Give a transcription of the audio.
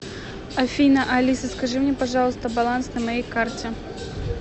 афина алиса скажи мне пожалуйста баланс на моей карте